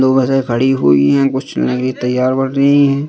खड़ी हुई है कुछ --